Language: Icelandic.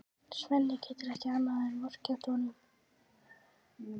Svenni getur ekki annað en vorkennt honum.